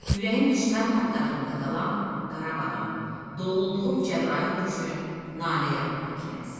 Ürəyim düşmən tapdağında qalan Qarabağım, doğulduğum Cəbrayıl üçün nanə yarpağı kimi əsir.